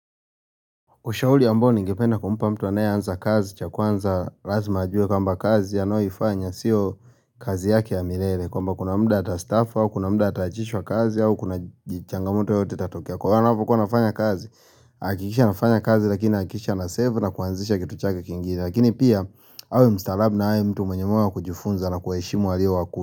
Ushauri ambao ningependa kumpa mtu anaye anza kazi cha kwanza lazima ajue kwamba kazi anayoifanya sio kazi yake ya milele kwamba kuna muda atastafa wa kuna muda ataachishwa kazi au kuna changamoto yoyote itatokea kwa wale wanapokuwa wanafanya kazi hakikisha anafanya kazi lakini hakikisha ana save na kuanzisha kitu chake kingini Lakini pia awe mstaarab na hawe mtu mwenye huwa wakujifunza na kuheshimu waalio wakuli.